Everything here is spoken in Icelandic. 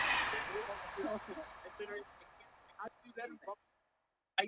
Kommúnistar töldu vonlaust að ná völdum á þingræðislegan hátt.